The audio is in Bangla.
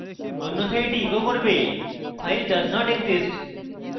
অন্যথায় এটি echo করবে file does not exist